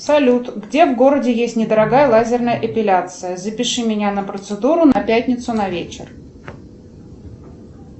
салют где в городе есть недорогая лазерная эпиляция запиши меня на процедуру на пятницу на вечер